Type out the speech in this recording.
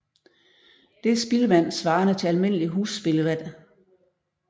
Det er spildevand svarende til almindelig husspildevand